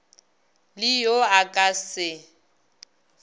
le yo a ka se